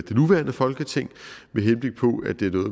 det nuværende folketing